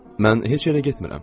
Mən heç yerə getmirəm.